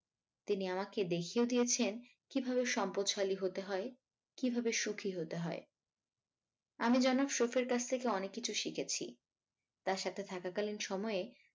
তিনি আমাকে দেখিয়েও দিয়েছেন কিভাবে সম্পদশালী হতে হয় কিভাবে সুখী হতে হয় আমি যেনো শফের কাছ থেকে অনেককিছুই শিখেছি তার সাথে থাকাকালীন সময়ে